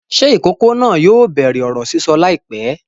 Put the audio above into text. Ṣé ìkókó náà yóò bẹ̀rẹ̀ ọ̀rọ̀ sísọ láìpẹ́?